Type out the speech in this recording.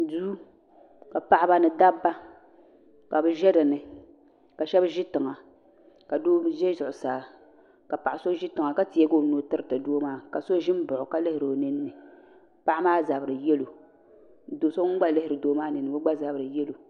Duu ka paɣiba ni dabba ka bɛ ʒe dini ka shɛba ʒi tiŋa ka doo ʒe zuɣusaa ka paɣa so ʒi tiŋa ka teegi o nuu tiriti doo maa ka so ʒi m-baɣi o ka lihiri o nini ni paɣa maa zabiri yelo do so ŋun gba lihiri doo maa nini ni maa o gba zabiri yelo.